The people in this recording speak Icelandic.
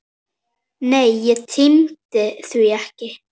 Nei, ég tímdi því ekki!